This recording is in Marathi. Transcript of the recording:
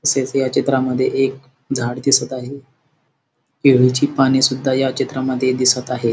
तसेच या चित्रामध्ये एक झाड दिसत आहे केळीची पाने सुद्धा या चित्रामध्ये दिसत आहेत.